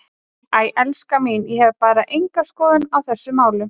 Æ, elskan mín, ég hef bara enga skoðun á þessum málum.